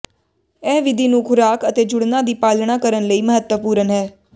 ਇਹ ਵਿਧੀ ਨੂੰ ਖੁਰਾਕ ਅਤੇ ਜੁੜਨਾ ਦੀ ਪਾਲਣਾ ਕਰਨ ਲਈ ਮਹੱਤਵਪੂਰਨ ਹੈ